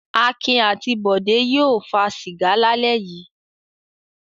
Akin àti Bọ̀dé yóò fa sìgá lálẹ́ yìí.